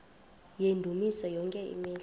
yendumiso yonke imihla